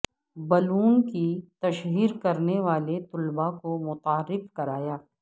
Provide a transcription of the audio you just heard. بلوم کی تشہیر کرنے والے طلباء کو متعارف کرایا